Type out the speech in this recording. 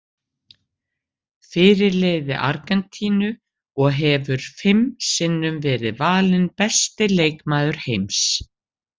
Fyrirliði Argentínu og hefur fimm sinnum verið valinn besti leikmaður heims.